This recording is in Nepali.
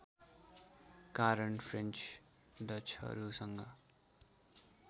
कारण फ्रेन्च डचहरूसँग